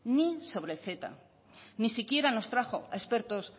ni sobre el ceta ni siquiera nos trajo a expertos